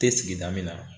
Tɛ sigida min na